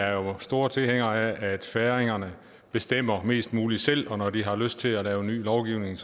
jo er store tilhængere af at færingerne bestemmer mest muligt selv og når de har lyst til at lave ny lovgivning